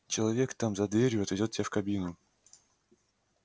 человек там за дверью отведёт тебя в кабину